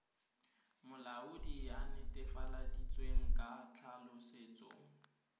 molaodi a netefaleditsweng ka tlhaolosetso